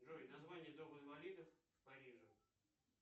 джой название дома инвалидов в париже